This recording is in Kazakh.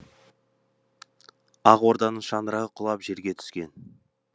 ақ орданың шаңырағы құлап жерге түскен